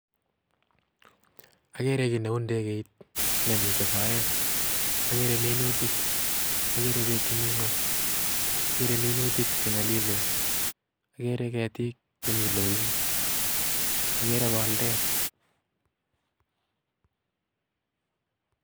Ageere kit neu ndekeit nemiten soet, ageere minutik agere biik chemi ngwony, ageere minutik Che nyolilen ageer ketik cheloen ageere boldeet